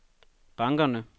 bankerne